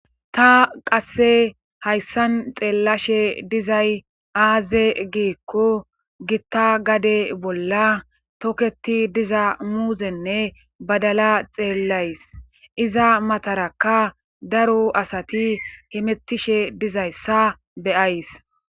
Ta haysan xelashe dizzayssi azze gikko gita gade bola toketi diza muzzenne badapla toketidaysa xelashne be'she days.asay hemetishe deyssa beyays.